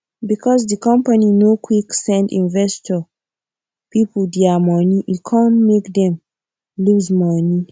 because di company no quick send investor people dia money e come make dem loose money